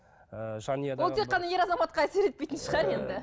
ол тек қана ер азаматқа әсер етпейтін шығар енді